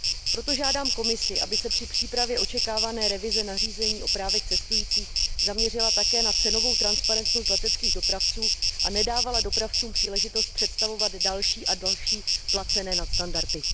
Proto žádám Komisi, aby se při přípravě očekávané revize nařízení o právech cestujících zaměřila také na cenovou transparentnost leteckých dopravců a nedávala dopravcům příležitost představovat další a další placené nadstandardy.